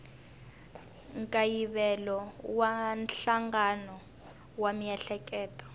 nkayivelo wa nhlangano wa miehleketo